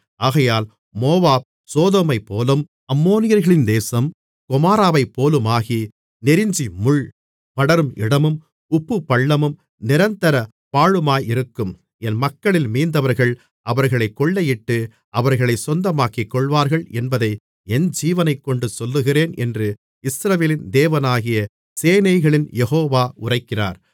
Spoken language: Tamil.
ஆகையால் மோவாப் சோதோமைப்போலும் அம்மோனியர்களின் தேசம் கொமோராவைப்போலுமாகி நெருஞ்சிமுள் படரும் இடமும் உப்புப்பள்ளமும் நிரந்தர பாழுமாயிருக்கும் என் மக்களில் மீந்தவர்கள் அவர்களைக் கொள்ளையிட்டு அவர்களைச் சொந்தமாக்கிக்கொள்வார்கள் என்பதை என் ஜீவனைக்கொண்டு சொல்லுகிறேன் என்று இஸ்ரவேலின் தேவனாகிய சேனைகளின் யெகோவா உரைக்கிறார்